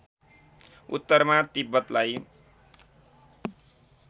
उत्तरमा तिब्बतलाई